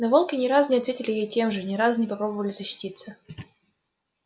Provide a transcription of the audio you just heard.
но волки ни разу не ответили ей тем же ни разу не попробовали защититься